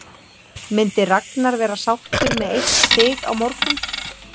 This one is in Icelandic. Myndi Ragnar vera sáttur með eitt stig á morgun?